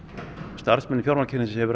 starfsmönnum fjármálakerfisins hefur